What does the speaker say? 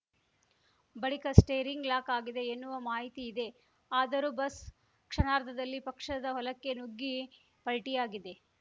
ಬಳಿಕ steering lock ಆಗಿದೆ ಎನ್ನುವ ಮಾಹಿತಿ ಇದೆ ಆದರೂ ಬಸ್‌ ಕ್ಷಣಾರ್ಧದಲ್ಲಿ ಪಕ್ಷದ ಹೊಲಕ್ಕೆ ನುಗ್ಗಿ ಪಲ್ಟಿಯಾಗಿದೆ